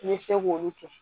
I bɛ se k'olu kɛ